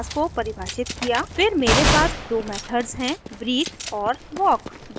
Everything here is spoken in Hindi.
फिर मेरे पास दो मेथड्स हैं breathe और walk